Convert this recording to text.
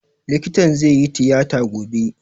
Likitan zai yi tiyata gobe